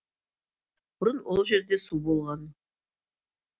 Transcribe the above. бұрын ол жерде су болған